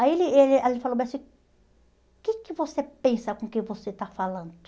Aí ele ele aí ele falou assim, o que que você pensa com quem você está falando?